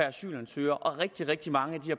asylansøger og rigtig rigtig mange af de